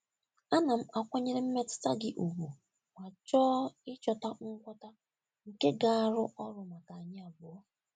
Ana m akwanyere mmetụta gị ùgwù ma chọọ ịchọta ngwọta nke ga-arụ ọrụ maka anyị abụọ.